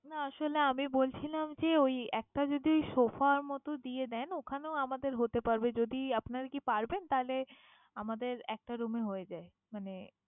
না আসলে আমি বলছিলাম কি ওই একটা যদি sofa র মত দিয়ে দেন ঐখানেও আমাদের হতে পারবে যদি আপনারা কি পারবেন? তাহলে আমাদের একটা room এ হয়ে যায়। মানে